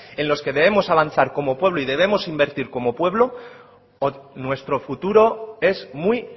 en los que debemos avanzar como pueblo y debemos invertir como pueblo o nuestro futuro es muy